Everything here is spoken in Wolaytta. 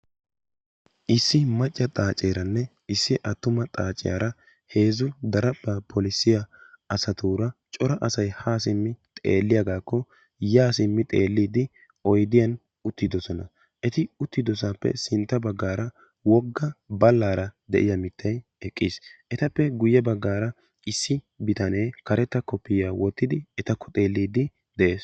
Issi macca xaaceranne issi attuma xaaciyaara heezzu daraphpha polissiya asati xeelliyaagakko ya simmi xeellidi oyddiyan uttidoosona. Eti uttidoodosappe sintta baggaara wogga ballaara de'iyaa mittay eqqiis. Etappe guyye baggaara issi bitanee karetta koppiyyaya wottidi etakko xeellide de'ees.